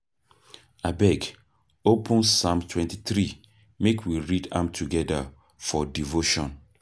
Abeg, open Psalm 23 make we read am together for devotion.